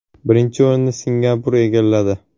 Birinchi o‘rinni Singapur egalladi.